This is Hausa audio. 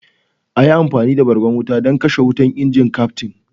"A yi amfani da bargon wuta don kashe wutar!" inji Kyaftin?